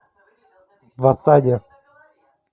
в осаде